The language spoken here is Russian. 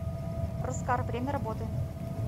роскар время работы